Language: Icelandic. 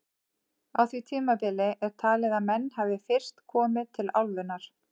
Á því tímabili er talið að menn hafi fyrst komið til álfunnar.